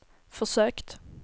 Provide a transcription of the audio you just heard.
försökt